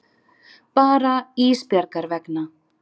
Bara Ísbjargar vegna.